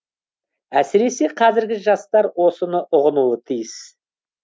әсіресе қазіргі жастар осыны ұғынуы тиіс